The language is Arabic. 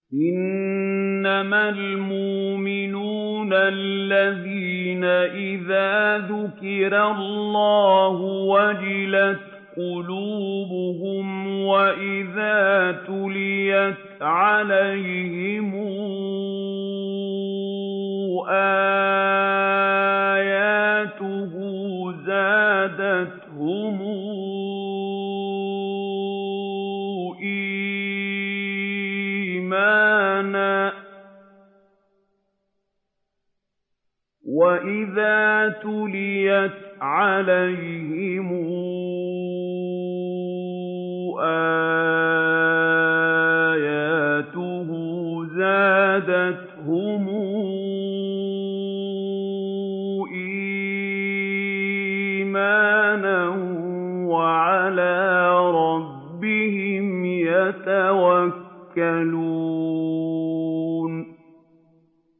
إِنَّمَا الْمُؤْمِنُونَ الَّذِينَ إِذَا ذُكِرَ اللَّهُ وَجِلَتْ قُلُوبُهُمْ وَإِذَا تُلِيَتْ عَلَيْهِمْ آيَاتُهُ زَادَتْهُمْ إِيمَانًا وَعَلَىٰ رَبِّهِمْ يَتَوَكَّلُونَ